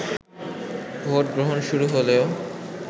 vote গ্রহণ শুরু হলেও